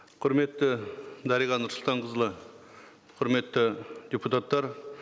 құрметті дариға нұрсұлтанқызы құрметті депутаттар